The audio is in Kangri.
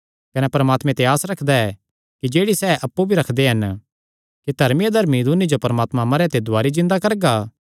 कने परमात्मे ते आस रखदा ऐ कि जेह्ड़ी सैह़ अप्पु भी रखदे हन कि धर्मी अधर्मी दून्नी जो परमात्मा मरेयां ते दुवारी जिन्दा करगा